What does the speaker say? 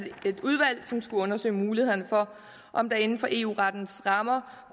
et udvalg som skulle undersøge mulighederne for om der inden for eu rettens rammer